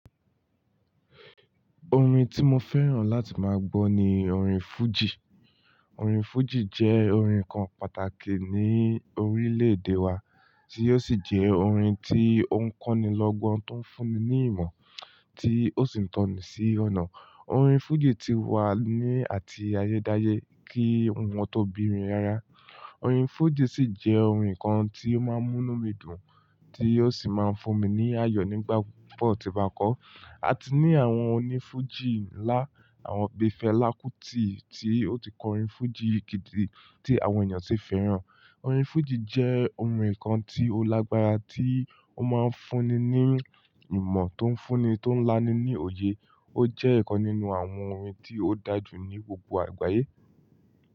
Orin tí mo fẹ́ràn láti máa gbọ́ ni orin fújì. Orin fújì jẹ́ orin kan pàtàkì ní orílẹ̀-èdè wa, tí ó sì jẹ́ orin tí ó ń kọ́ni lọ́gán, tó ń fún'ni ní ìmọ̀, tí ó sì ń tọ́ni sí ọ̀nà. Orin fújì ti wà ní àti ayé dáyé kí wọn tó bí mi rárá. Orin fújì sì jẹ́ orin kan tí ó máa ń mú mí dùn, tí ó sì máa ń fún mi ní àyọ̀ nígbà pupo tí n bá kọ́. A ti ní àwọn onífújì ńlá, àwọn Bífẹ́ Lákútì tí ó ti kọ orin fújì gidi tí àwọn èèyàn sì fẹ́ràn. Orin fújì jẹ́ ohun kan tí ó lágbára, tí ó máa ń fún'ni ní ìmọ̀ tó ń fún'ni, tó ń láni ní òye. Ó jẹ́ ẹ̀ kan nínú àwọn orin tí ó dá jù ní gbogbo àgbáyé.